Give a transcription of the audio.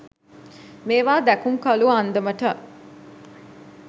මේවා දැකුම්කලූ අන්දමට